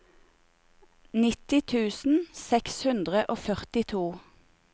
nittini tusen seks hundre og førtito